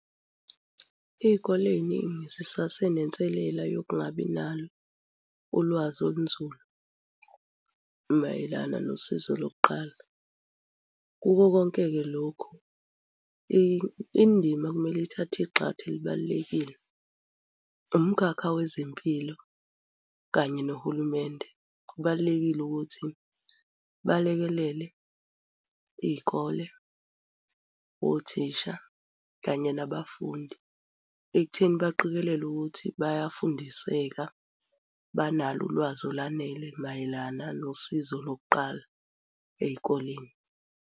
Ey'koleni sisasenenselele yokungabi nalo ulwazi olunzulu mayelana nosizo lokuqala. Kuko konke-ke lokhu indima okumele ithathe igxathu elibalulekile umkhakha wezempilo kanye nohulumende. Kubalulekile ukuthi balekelele iy'kole, othisha, kanye nabafundi ekutheni baqikelele ukuthi bayafundiseka, banalo ulwazi olwanele mayelana nosizo lokuqala ey'koleni.